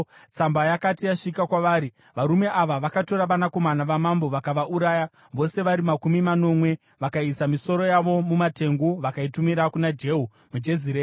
Tsamba yakati yasvika kwavari, varume ava vakatora vanakomana vamambo vakavauraya vose vari makumi manomwe. Vakaisa misoro yavo mumatengu vakaitumira kuna Jehu muJezireeri.